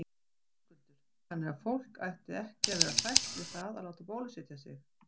Höskuldur: Þannig að fólk ætti ekki að vera hrætt við það að láta bólusetja sig?